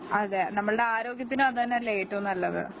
അതെ നമ്മുടെ ആരോഗ്യത്തിനും അതുതന്നെയല്ലേ ഏറ്റവും നല്ലത്